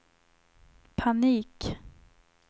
panik